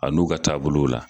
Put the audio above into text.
A n'u ka taabolow la